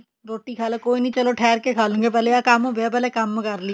ਰੋਟੀ ਖਾਲੋ ਕੋਈ ਨੀ ਚਲੋ ਠੇਰ ਕੇ ਖਾਲਾਂਗੇ ਪਹਿਲੇ ਆ ਕੰਮ ਪਿਆ ਪਹਿਲੇ ਆਹ ਕਰ ਲਈਏ